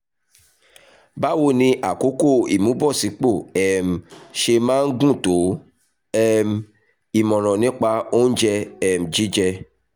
báwo ni àkókò ìmúbọ̀sípò um ṣe máa ń gùn tó? um ìmọ̀ràn nípa oúnjẹ um jíjẹ?